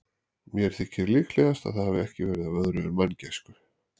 Mér þykir líklegast, að það hafi ekki verið af öðru en manngæsku.